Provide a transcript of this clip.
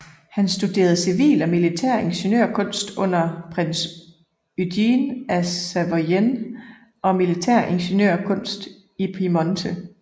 Han studerede civil og militær ingeniørkunst under prins Eugen af Savoyen og militær ingeniørkunst i Piemonte